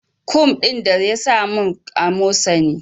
Kum din ta yasa min amosani